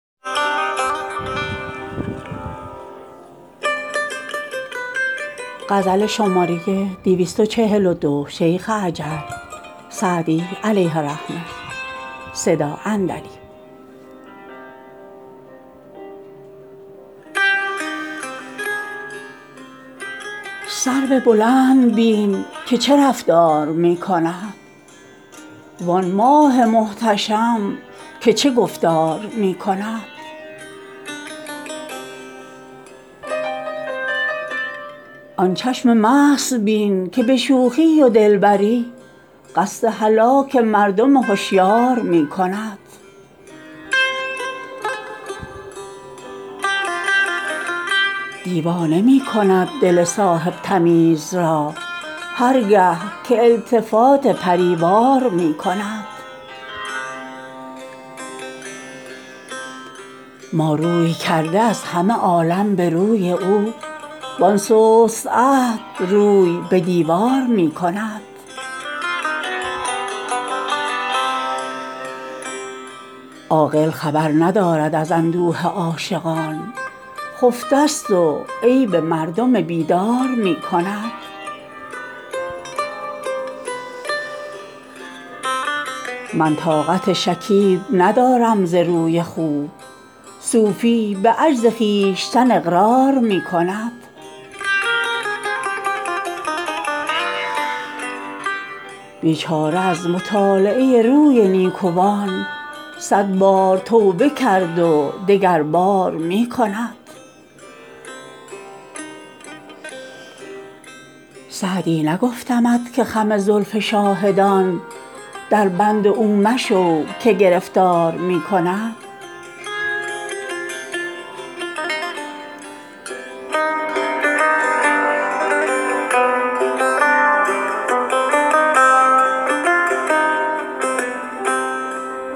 سرو بلند بین که چه رفتار می کند وآن ماه محتشم که چه گفتار می کند آن چشم مست بین که به شوخی و دلبری قصد هلاک مردم هشیار می کند دیوانه می کند دل صاحب تمیز را هر گه که التفات پری وار می کند ما روی کرده از همه عالم به روی او وآن سست عهد روی به دیوار می کند عاقل خبر ندارد از اندوه عاشقان خفته ست و عیب مردم بیدار می کند من طاقت شکیب ندارم ز روی خوب صوفی به عجز خویشتن اقرار می کند بیچاره از مطالعه روی نیکوان صد بار توبه کرد و دگربار می کند سعدی نگفتمت که خم زلف شاهدان دربند او مشو که گرفتار می کند